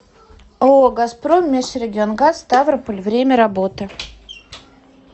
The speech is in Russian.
ооо газпром межрегионгаз ставрополь время работы